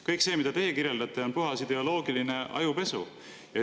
Kõik see, mida teie kirjeldate, on puhas ideoloogiline ajupesu.